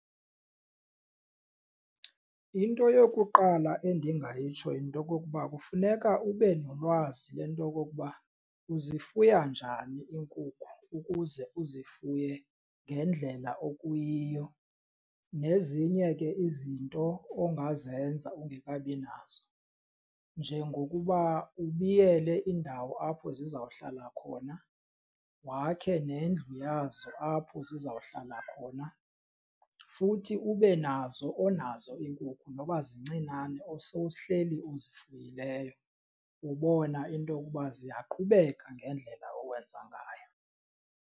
Into yokuqala endingayitsho yinto okokuba kufuneka ube nolwazi le nto yokokuba uzifuya njani iinkukhu ukuze uzifuye ngendlela okuyiyo nezinye ke izinto ongazenza ungekabi nazo. Njengokuba ubiyele indawo apho zizawuhlala khona wakhe nendlu yazo apho zizawuhlala khona, futhi ube nazo onazo iinkukhu noba zincinane osowuhleli uzifuyileyo ubona into okuba ziyaqhubeki ngendlela owenza ngayo.